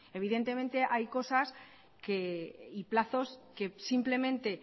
evidentemente hay cosas y plazos que simplemente